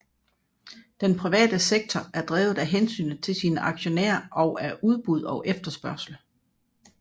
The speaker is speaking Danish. Den private sektor er drevet af hensynet til sine aktionærer og af udbud og efterspørgsel